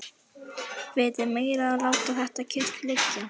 Vitið meira að láta þetta kyrrt liggja.